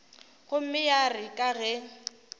gomme ya re ka ge